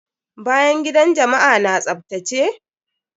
Bayan gidan jama'a na tsaftace?